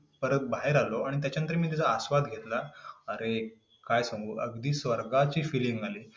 परत बाहेर आलो आणि त्याच्यानंतर मी तिचा आस्वाद घेतला.